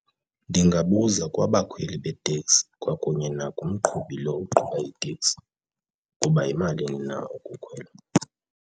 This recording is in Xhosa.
Ndingabuza kwabakhweli beteksi kwakunye nakumqhubi lo uqhubayo iteksi ukuba yimalini na ukukhwela.